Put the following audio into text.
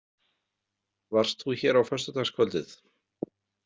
Varst þú hér á föstudagskvöldið?